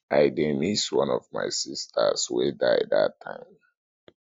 i dey miss one of my sisters wey die dat time